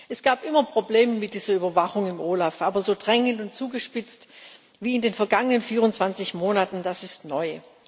Es gab immer Probleme mit dieser Überwachung im OLAF, aber so drängend und zugespitzt wie in den vergangenen 24 Monaten, das ist neu.